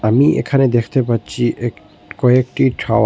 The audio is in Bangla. আমি এখানে দেখতে পাচ্ছি এক কয়েকটি টাও--